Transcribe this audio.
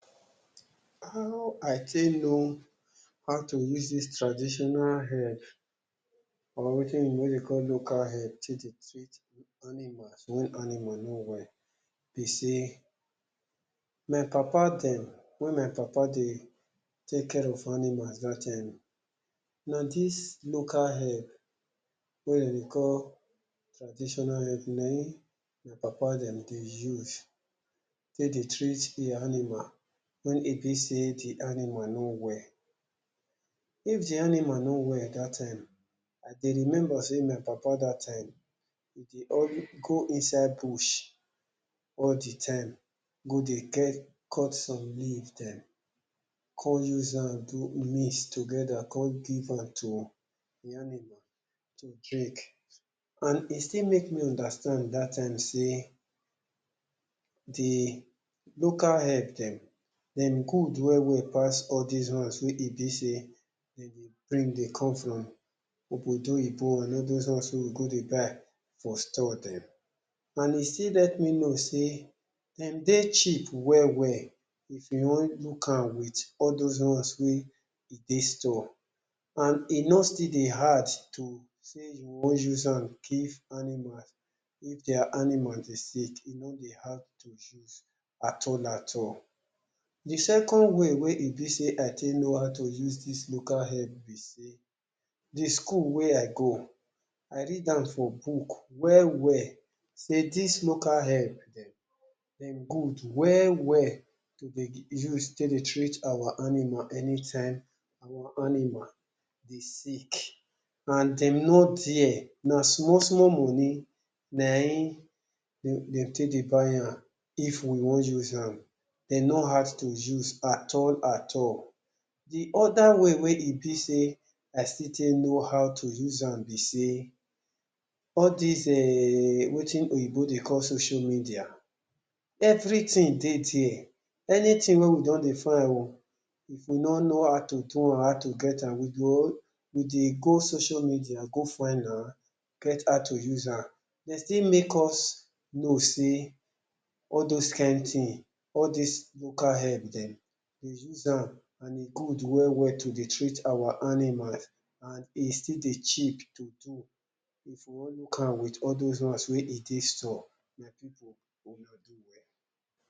How I take know how to use dis traditional herb or wetin be wey dey call local herb take dey treat animal, when animal no well be sey, my papa dem, when my papa dey take care of animals dat time, na dis local herb wey dem dey call traditional herb na im my papa dem dey use take dey treat de animal when e be sey de animal no well. If the animal no well dat time, I dey remember sey my papa dat time, e dey go inside bush all de time go dey cut some leaf dem, come use am do mix together, come give am to de animal to drink. And e still make me understand dat time sey, de local herb dem, dem good well well pass all dese ones wey e be sey dem dey bring dey come from obodo oyinbo, and all dose ones wey we go dey buy for store dem. And e still let me know sey dem dey cheap well well if you want look am with all dose ones wey e dey store, and e no still dey hard to sey you want use am give animals if their animal dey sick. E no dey hard to use at all, at all. De second way wey e be sey I take know how to use dis local herb be sey, de school wey I go, I read am for book well well, sey dis local herb dem, dem good well well to dey use take dey treat our animal anytime our animal dey sick, and dem know there, na small small money na im dem take dey buy am. If we want use am, dem no hard to use at all, at all. De other way wey e be sey I still take know how to use am be sey, all dese um wetin oyigbo dey call social media, everything dey there, anything wey we don dey find o, if we no know how to do or how to get am, we go we dey go social media go find am get how to use am. Dem still make us know sey all dose kind thing, all these local herb dem, dey use am and e good well well to dey treat our animals, and e still dey cheap to do if we want look am with all those ones wey e dey store. My pipu, una do well.